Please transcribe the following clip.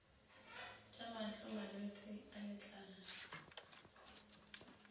tša mahlo malwetse a letlalo